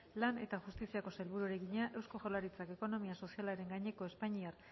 lan eta justiziako sailburuari egina eusko jaurlaritzak ekonomia sozialaren gaineko espainiar